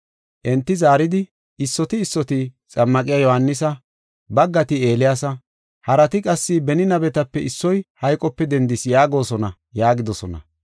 Enti zaaridi “Issoti issoti, ‘Xammaqiya Yohaanisa, baggati Eeliyaasa, harati qassi, beni nabetape issoy hayqope dendis’ yaagosona” yaagidosona.